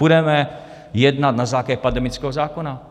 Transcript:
Budeme jednat na základě pandemického zákona.